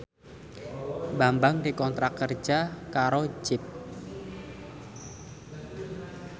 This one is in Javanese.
Bambang dikontrak kerja karo Jeep